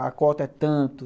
A cota é tanto.